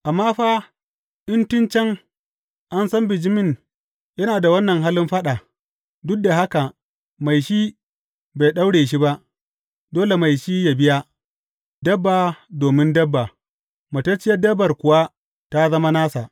Amma fa, in tun can, an san bijimin yana da wannan halin faɗa, duk da haka mai shi bai ɗaura shi ba, dole mai shi yă biya, dabba domin dabba, matacciyar dabbar kuwa tă zama nasa.